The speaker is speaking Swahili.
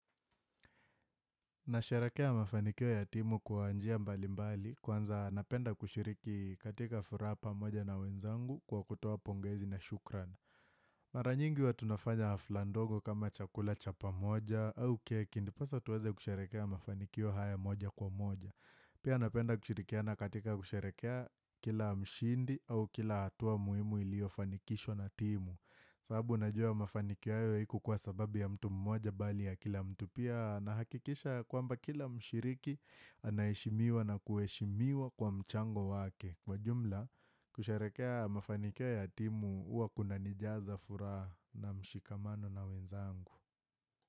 Nasharehekea mafanikio ya timu kwa njia mbali mbali kwanza napenda kushiriki katika furaha pamoja na wenzangu kwa kutoa pongezi na shukrani. Mara nyingi huwa tunafanya hafla ndogo kama chakula chapa moja au keki, ndiposa tuweze kusharehekea mafanikio haya moja kwa moja. Pia napenda kushirikiana katika kusharehekea kila mshindi au kila hatua muhimu iliyofanikishwa na timu. Sababu najua mafanikio hayo haikuwa kwa sababu ya mtu mmoja bali ya kila mtu pia nahakikisha ya kwamba kila mshiriki anaheshimiwa na kuheshimiwa kwa mchango wake. Kwa jumla, kusherehekea mafanikio ya timu huwa kunanijaza furaha na mshikamano na wenzangu.